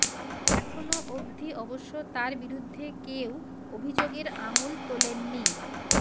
এখনও অবধি অবশ্য তাঁর বিরুদ্ধে কেউ অভিযোগের আঙুল তোলেননি